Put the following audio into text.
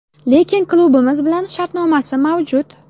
Lekin klubimiz bilan shartnomasi mavjud.